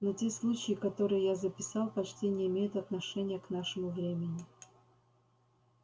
но те случаи которые я записал почти не имеют отношения к нашему времени